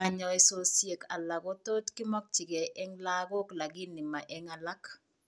Kanyoisosiek alak kotot kemokyikee eng' lagok lakini ma eng' alak